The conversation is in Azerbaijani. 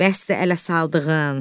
Bəsdir ələ saldığın.